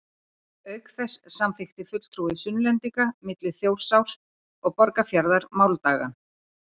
Auk þess samþykkti fulltrúi Sunnlendinga milli Þjórsár og Borgarfjarðar máldagann.